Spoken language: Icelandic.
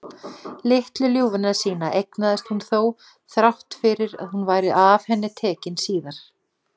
Litlu ljúfuna sína eignaðist hún þó, þrátt fyrir að hún væri af henni tekin síðar.